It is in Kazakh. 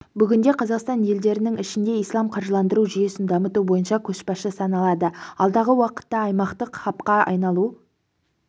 бүгінде қазақстан елдерінің ішінде ислам қаржыландыру жүйесін дамыту бойынша көшбасшы саналады алдағы уақытта аймақтық хабқа айналуы